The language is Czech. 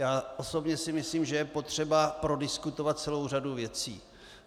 Já osobně si myslím, že je potřeba prodiskutovat celou řadu věcí.